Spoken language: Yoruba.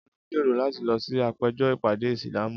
Olú ń gbèrò láti lọ sí àpéjọ ìpàdé Ìsìlámù.